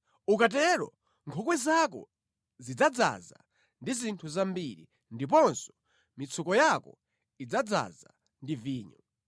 Ukatero nkhokwe zako zidzadzaza ndi zinthu zambiri, ndiponso mitsuko yako idzadzaza ndi vinyo.